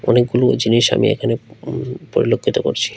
অনেকগুলো জিনিস আমি এখানে উম পরিলক্ষিত করছি।